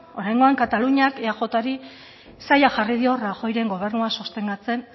oraingoan kataluniak eajri zaila jarri dio rajoyren gobernua sostengatzen